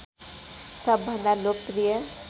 सबभन्दा लोकप्रिय